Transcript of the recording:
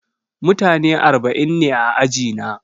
Mutane arba'in ne a ajina.